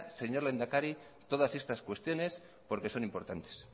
señor lehendakari todas estas cuestiones porque son importantes